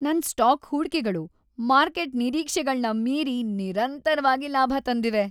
ನನ್ ಸ್ಟಾಕ್ ಹೂಡ್ಕೆಗಳು ಮಾರ್ಕೆಟ್ ನಿರೀಕ್ಷೆಗಳ್ನ ಮೀರಿ ನಿರಂತರ್ವಾಗಿ ಲಾಭ ತಂದಿವೆ.